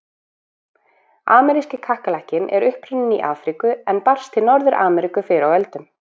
Ameríski kakkalakkinn er upprunninn í Afríku en barst til Norður-Ameríku fyrr á öldum.